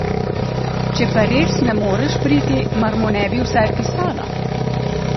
Če pa res ne moreš priti, mar mu ne bi vsaj pisala?